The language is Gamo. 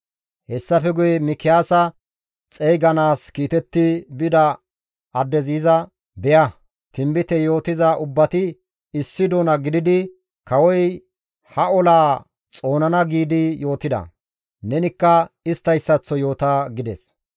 Hessafe guye Mikiyaasa xeyganaas kiitetti bida addezi iza, «Be7a, tinbite yootiza ubbati issi doona gididi, ‹Kawoy ha olaa xoonana› giidi yootida. Nenikka isttayssaththo yoota» gides.